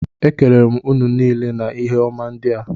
Ekelere m ụnụ niile na ihe ọma ndị a